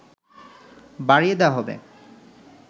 বাড়িয়ে দেয়া হবে